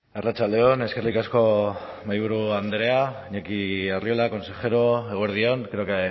arratsalde on eskerrik asko mahaiburu andrea iñaki arriola consejero eguerdi on creo que